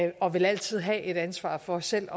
og vil altid have et ansvar for selv